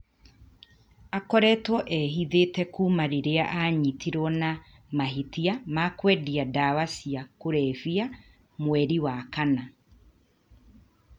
Aakoretwo ehithĩte kuuma rĩrĩa aanyitirũo na mahĩtia ma kwendia ndawa cia kũrebia mweri wa kana.